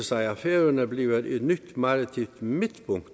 sig at færøerne bliver et nyt maritimt midtpunkt i